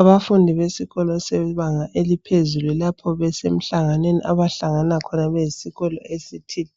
Abafundi besikolo sebanga eliphezulu lapho besemhlanganweni abahlangana khona besiyikolo esithile